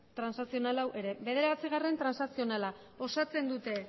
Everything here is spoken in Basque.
transakzional hau ere bederatzigarrena transakzionala osatzen dute